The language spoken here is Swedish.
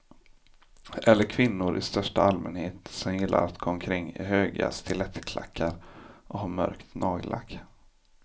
Eller kvinnor i största allmänhet som gillar att gå omkring i höga stilettklackar och ha mörkt nagellack.